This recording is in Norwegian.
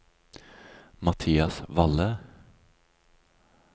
Mathias Valle